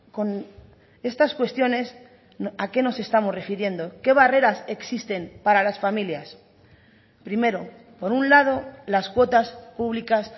con estas cuestiones a qué nos estamos refiriendo qué barreras existen para las familias primero por un lado las cuotas públicas